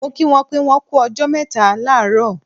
Mo kí wọn pé wọ́n kú ọjọ́ mẹ́ta láàárọ̀